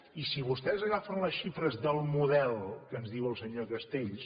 i si vostès agafen les xifres del model que ens diu el senyor castells